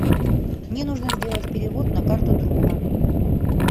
мне нужно сделать перевод на карту друга